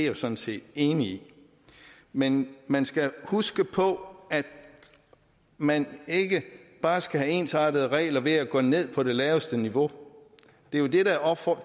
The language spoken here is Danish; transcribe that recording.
jo sådan set enig i men man skal huske på at man ikke bare skal have ensartede regler ved at gå ned på det laveste niveau